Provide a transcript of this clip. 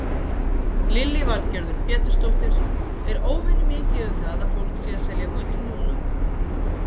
Lillý Valgerður Pétursdóttir: Er óvenjumikið um það að fólk sé að selja gull núna?